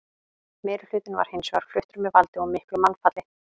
Meirihlutinn var hins vegar fluttur með valdi og miklu mannfalli.